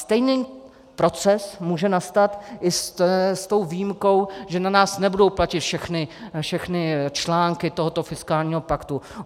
Stejný proces může nastat i s tou výjimkou, že na nás nebudou platit všechny články tohoto fiskálního paktu.